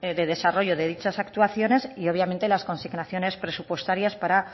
de desarrollo de dichas actuaciones y obviamente las consignaciones presupuestarias para